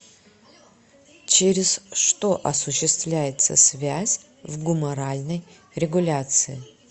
через что осуществляется связь в гуморальной регуляции